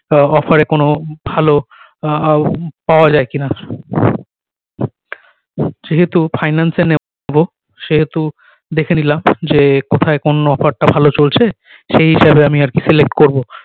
আ ও offer এ কোনো ভালো আহ ও পাওয়া যায় কি না যেহেতু finance এ নেব সেহেতু দেখে নিলাম যে কোথায় কোন offer টা ভালো চলছে সেই হিসাবে আমি আর কি select করবো